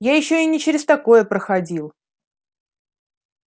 я ещё и не через такое проходил